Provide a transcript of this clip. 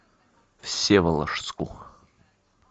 всеволожску